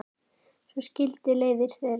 Svo skildi leiðir þeirra.